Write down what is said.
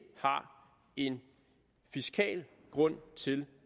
har en fiskal grund til